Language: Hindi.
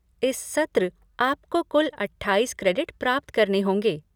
इस सत्र आपको कुल अट्ठाईस क्रेडिट प्राप्त करने होंगे।